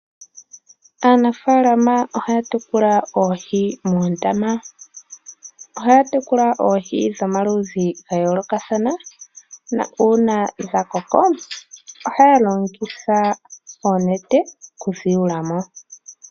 Aanafaalama ohaya tekula oohi moondama. Ohaya tekula oohi dhomaludhi ga yoolokathana na uuna dha koko ohaya longitha oonete okudhi yula mo.